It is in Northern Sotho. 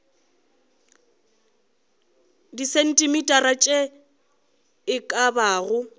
disentimetara tše e ka bago